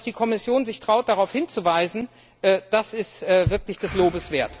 Und dass die Kommission sich traut, darauf hinzuweisen, das ist wirklich des Lobes wert.